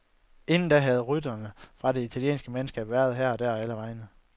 Inden da havde ryttere fra det italienske mandskab været her og der og allevegne.